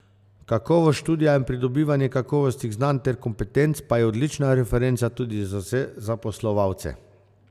Kakovost študija in pridobivanje kakovostnih znanj ter kompetenc pa je odlična referenca tudi za vse zaposlovalce.